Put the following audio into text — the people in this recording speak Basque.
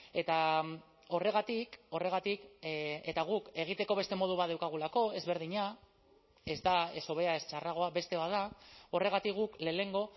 eta horregatik horregatik eta guk egiteko beste modu bat daukagulako ezberdina ez da ez hobea ez txarragoa beste bat da horregatik guk lehenengo